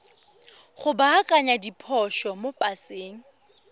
go baakanya diphoso mo paseng